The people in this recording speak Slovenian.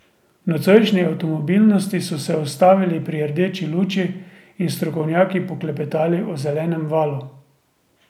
V nocojšnji Avtomobilnosti so se ustavili pri rdeči luči in s strokovnjaki poklepetali o zelenem valu.